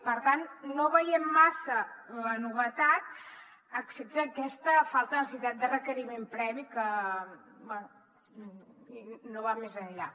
per tant no veiem massa la novetat excepte aquesta falta de necessitat de requeriment previ que bé no va més enllà